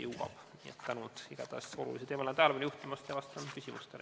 Igatahes tänan olulisele teemale tähelepanu juhtimise eest ja vastan küsimustele.